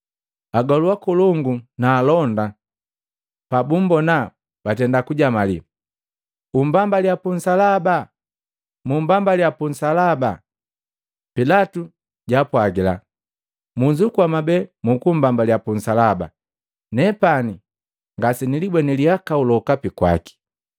Agolu akolongu na alonda pabumbona batenda kujamaliya, “Umbambaliya punsalaba! Mumbambaliya puunsalaba!” Pilatu jaapwagila, “Munzukua mwabee mukumbambaliya punsaba, nepani ngasenilibweni lihakau lokape kwaki.”